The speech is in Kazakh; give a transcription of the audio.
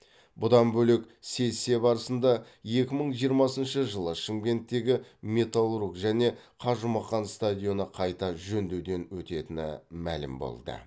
бұдан бөлек сессия барысында екі мың жиырмасыншы жылы шымкенттегі металлург және қажымұқан стадионы қайта жөндеуден өтетіні мәлім болды